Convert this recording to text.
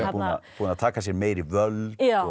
búinn að taka sér meiri völd